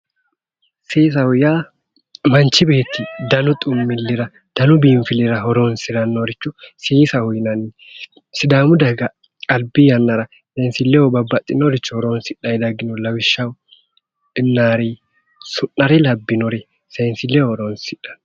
Seesaho yaa manchu beetti danu xumillira danu biinfillira horonsirannorich seesaho yinanni sidaamu daga albi yannara seenssilleho babbaxitinoricho horonsidhanni daggino lawishshaho innaare sa'nare labbinore seensilleho horonsidhanno.